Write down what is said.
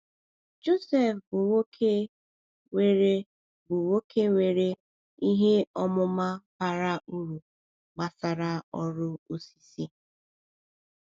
Joseph bụ nwoke nwere bụ nwoke nwere ihe ọmụma bara uru gbasara ọrụ osisi.